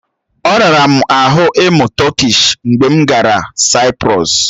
Ọ rara m ahụ ịmụ Tọkish mgbe m gara Saịprọs.